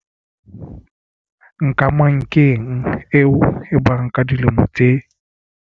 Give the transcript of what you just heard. Nkamankeng eo e bang ka dilemo tse.